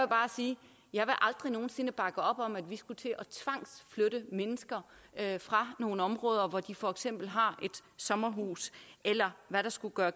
bare sige jeg vil aldrig nogen sinde bakke op om at vi skulle til at tvangsflytte mennesker fra nogle områder hvor de for eksempel har et sommerhus eller hvad der skulle gøre